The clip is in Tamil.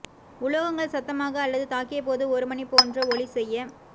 உலோகங்கள் சத்தமாக அல்லது தாக்கிய போது ஒரு மணி போன்ற ஒலி செய்ய